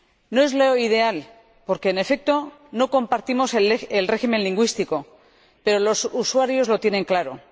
No es lo ideal porque, en efecto, no compartimos el régimen lingüístico, pero los usuarios lo tienen claro.